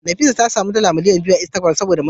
Nefisat ta samu dala miliyan daya daga mabiya a Instagram